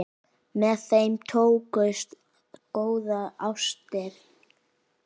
Með þeim tókust góðar ástir.